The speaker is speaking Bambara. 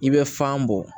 I bɛ fan bɔ